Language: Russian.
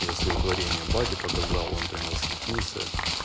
я своё творение бате показал он прямо восхитился